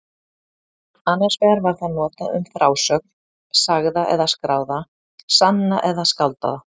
Annars vegar var það notað um frásögn, sagða eða skráða, sanna eða skáldaða.